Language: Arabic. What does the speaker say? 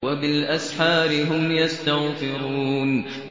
وَبِالْأَسْحَارِ هُمْ يَسْتَغْفِرُونَ